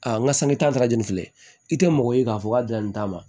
Aa n ka sanni tarajini filɛ i tɛ mɔgɔ ye k'a fɔ k'a bila nin ta ma